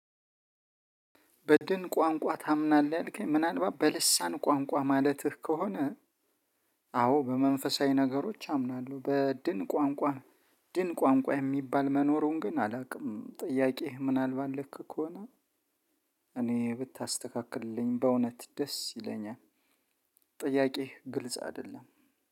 በድን ቋንቋ ታምናለህ ምናልባት በልሳን ቋንቋ ማለትህ ከሆነ አዎ በመንፈሳዊ ነገሮች አምናለሁ። በድን ቋንቋ ድን ቋንቋ የሚባል መኖሩን ግን አላውቅም ጥያቄህ ምናልባት ልክ ከሆነ እኔ ብታስተካክልልኝ በእውነት ደስ ይለኛል ጥያቄ ግልጽ አይደለም።